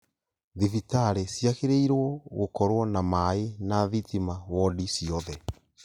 Thibitarĩ ciagĩrĩirwo gũkorwo na maaĩ na thitima wodi ciothe